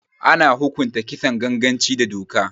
Ana hukunta Kisan ganganci da doka